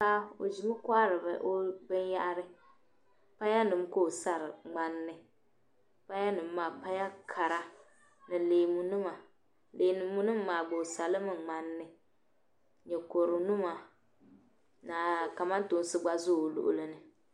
Paɣa ɔ ʒimi nkohiri binyahiri, paya nim ka ɔ sara mŋan ni paya nim maa paya kara ni leemu nima leemu nim maa gba osalimi mŋan ni ni kodunima, ka kamantoonsi gba ʒɛ ɔluɣilini